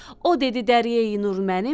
O dedi dəryəyi Nur mənimdir,